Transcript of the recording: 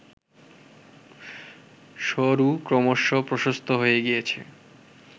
সরু ক্রমশঃ প্রশস্ত হয়ে গিয়েছে